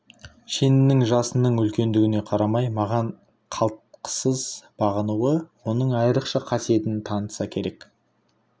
шенінің жасының үлкендігіне қарамай маған қалтқысыз бағынуы оның айрықша қасиетін танытса керек